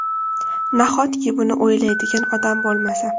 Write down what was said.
Nahotki buni o‘ylaydigan odam bo‘lmasa?!